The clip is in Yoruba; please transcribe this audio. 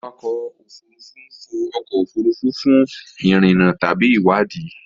Awakọ̀ òfurufú fò ọkọ̀ òfurufú fún ìrìnnà tàbí ìwádìí.